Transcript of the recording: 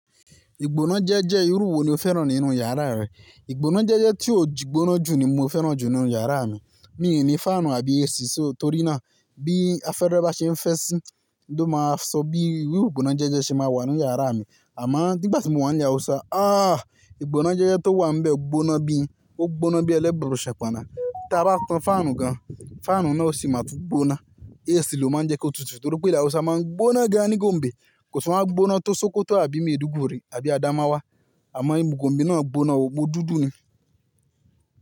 Ìgbóná jẹ́jẹ́ irú wo ni o fẹ́ràn nínú yàrá rẹ? Ìgbóná jẹ́jẹ́ tí ò jígbóná jù ni mo fẹ́ràn jù nínú yàrá mi. Mi ò ní fáànù àbí AC, só torí náà bí afẹ́rẹ́ bá ṣe ń fẹ́ sí, n ló máa sọ bí irú ìgbóná jẹ́jẹ́ ṣe máa wà nínú yàrá mi. Àmáà dígbà tí mo wà níle Hausa, ah! Ìgbóná jẹ́jẹ́ tó wà níbẹ̀ gbóná bí, ó gbóná bí ẹlẹ́burú ṣẹ́paná. Tí a bá tan fáànù gan, fáànù náà o sì máa tú gbóná. AC ló máa ń jẹ́ kí ó tutù torí pé ìlú Hausa máa ń gbóná gan ní gòǹbẹ̀. Kò sì wọ́n á gbóná tó sọkọto àbí maiduguri àbí àdámáwá. Àmáà ẹ́ gòǹbẹ̀ náà gbóná, ọgbó dúdú ni.